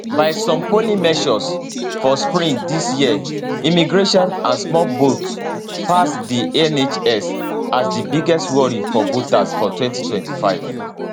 by some polling measures for spring dis year immigration and small boats pass di nhs as di biggest worry for voters for 2025